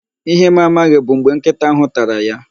Ihe m amaghị bụ mgbe nkịta ahụ tara ya